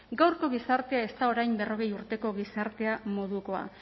gaurko gizartea ez da orain berrogei urteko gizartea modukoa